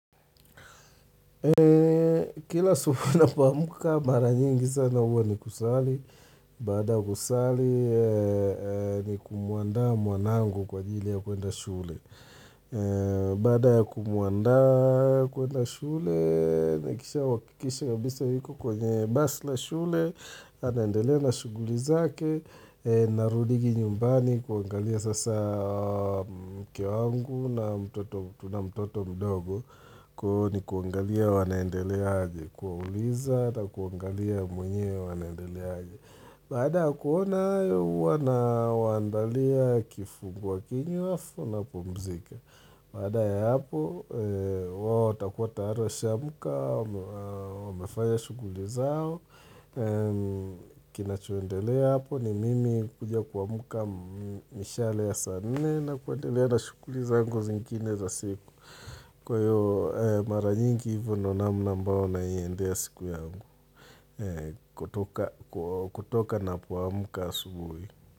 Kila asubuhi ninapoamka mara nyingi sana huwa ni kusali, baada kusali ni kumuandaa mwanangu kwajili ya kuenda shule. Baada kumuandaa kuenda shule, nikisha wakikisha kabisa yuko kwenye basi la shule, anaendelea na shughuli zake, Narudigi nyumbani kuangalia sasa mke wangu na mtoto mdogo Kwahiyo ni kuangalia wanaendeleaje Kuwauliza na kuangalia mwenyewe wanaendeleaje Baada ya kuona hayo huwa nawaandalia kifungua kinywa halafu napumzika Baada ya hapo wao watakuwa tayari washaamka Wamefanya shughuli zao kina choendelea hapo ni mimi kuja kuamka mishale ya saa nne na kuendelea na shughuli zangu zingine za siku Kwa hiyo mara nyingi hivyo ndiyo namna mbayo naiendea siku yangu kutoka na kuamka asubuhi.